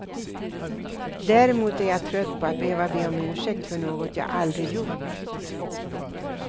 Däremot är jag trött på att behöva be om ursäkt för något jag aldrig gjort.